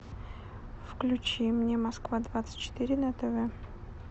включи мне москва двадцать четыре на тв